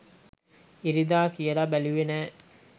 ඉරිදා කියලා බැලුවේ නෑ